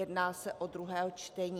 Jedná se o druhé čtení.